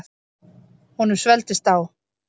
Honum svelgdist á.